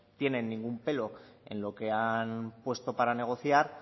tiene ningún pelo en lo que han puesto para negociar